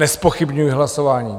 Nezpochybňuji hlasování.